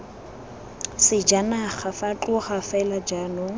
sejanaga fa tloga fela jaanong